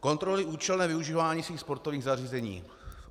"Kontrolují účelné využívání svých sportovních zařízení."